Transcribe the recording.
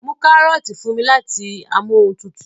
mú karọọti fún mí láti Amóhuntutù